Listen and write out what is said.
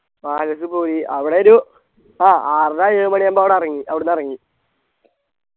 Palace പോയി അവിടൊരു ആഹ് ആറര ഏഴു മണിയാകുമ്പോ അവിടെ എറങ്ങി അവിടുന്ന് ഇറങ്ങി